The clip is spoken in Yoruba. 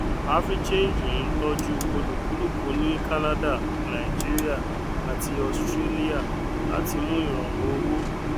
africhange ń tọjú olúkúlùkù ní canada nàìjíríà àti australia láti mú ìrọrùn owó